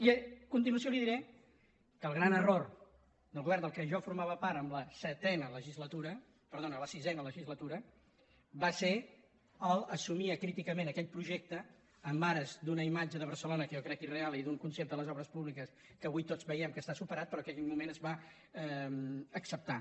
i a continuació li diré que el gran error del govern del què jo formava part en la sisena legislatura va ser el fet d’assumir acríticament aquell projecte en ares d’una imatge de barcelona que jo crec irreal i d’un concepte de les obres públiques que avui tots veiem que està superat però que en aquell moment es va acceptar